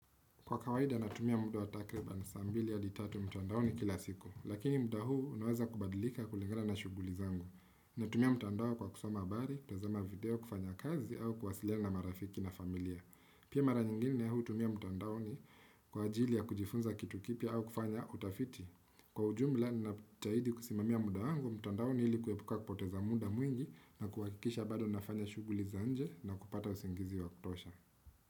Kwa kawaida natumia muda wa takriba na saa mbili hadi tatu mtandaoni kila siku. Lakini muda huu unaweza kubadilika kulingana na shughuli zangu. Natumia mtandao kwa kusoma habari, kutazama video, kufanya kazi au kuwasiliana na marafiki na familia. Pia mara nyingine hutumia mtandaoni kwa ajili ya kujifunza kitu kipia au kufanya utafiti. Kwa ujumla ninapojitahidi kusimamia muda wangu, mtandaoni hili kuepuka kupoteza muda mwingi na kuwakikisha bado nafanya shughuli za nje na kupata usingizi wa kutosha.